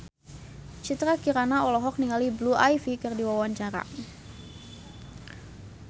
Citra Kirana olohok ningali Blue Ivy keur diwawancara